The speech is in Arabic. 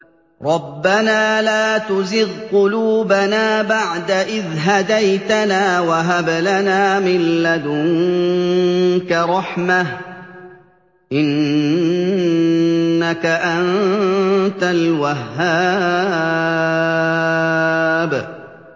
رَبَّنَا لَا تُزِغْ قُلُوبَنَا بَعْدَ إِذْ هَدَيْتَنَا وَهَبْ لَنَا مِن لَّدُنكَ رَحْمَةً ۚ إِنَّكَ أَنتَ الْوَهَّابُ